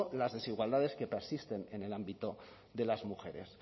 las desigualdades que persisten en el ámbito de las mujeres